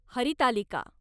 Haritalika